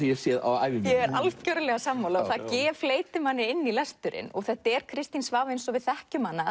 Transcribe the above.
hef séð á ævi minni ég er sammála fleytir manni inn í lesturinn þetta er Kristín Svava eins og við þekkjum hana